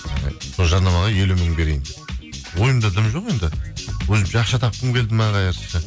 ы сол жарнамаға елу мың берейін ойымда дым жоқ енді өзімше ақша тапқым келді ме